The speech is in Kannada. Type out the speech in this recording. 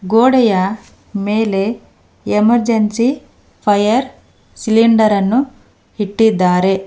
ಗೋಡೆಯ ಮೇಲೆ ಎಮರ್ಜೆನ್ಸಿ ಫೈರ್ ಸಿಲಿಂಡರ್ ಅನ್ನು ಇಟ್ಟಿದ್ದಾರೆ.